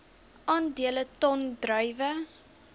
aandele ton druiwe